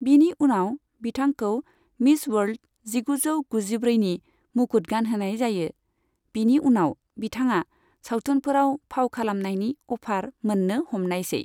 बिनि उनाव बिथांखौ मिस वर्ल्द जिगुजौ गुजिब्रैनि मुकुट गानहोनाय जायो, बिनि उनाव बिथाङा सावथुनफोराव फाव खालामनायनि अफार मोन्नो हमनायसै।